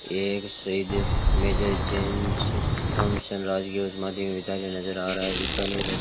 एक शहीद major James तामसेन राजकीय उच्च माध्यमिक विद्यालय नजर आ रहा है बीकानेर --